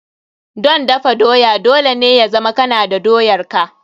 Don dafa doya, dole ne ya zama kana da doyar ka.